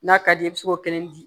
N'a ka di i ye i bi se k'o kelen di